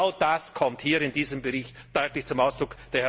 Genau das kommt hier in diesem Bericht deutlich zum Ausdruck.